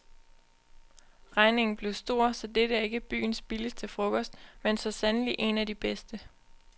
Regningen blev stor, så dette er ikke byens billigste frokost, men så sandelig en af de bedste.